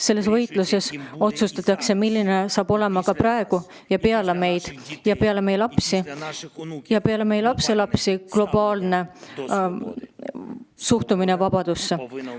Selles võitluses otsustatakse, milline on praegu ning milline hakkab olema peale meid ja meie lapsi ja lapselapsi globaalne suhtumine vabadusse.